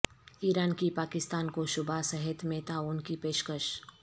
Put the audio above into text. ایران کی پاکستان کو شعبہ صحت میں تعاون کی پیشکش